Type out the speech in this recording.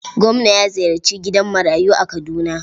Gwamna ya ziyarci gidan marayu a Kaduna.